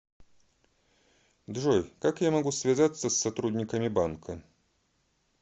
джой как я могу связаться с сотрудниками банка